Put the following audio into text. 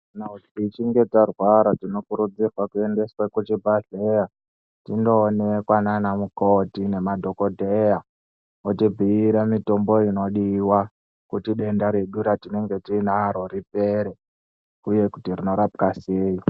Kana tichinge tarwara tinokurudzirwa kuendeswa kuchibhahleya tinoonekwa nanamukoti nemadhokodheya otibhiira mitombo inodiwa kuti denda redu ratinaro ripere uye kuti rinorapwa seyi.